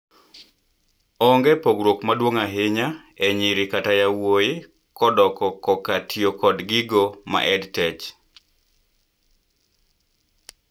onge pogruok maduong ahinya e nyiri kata yowuoyikodoko koka tiyo kod gigo ma EdTech